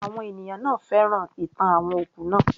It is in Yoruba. Àwọn ènìyàn náà féràn ìtàn àwọn òkú naa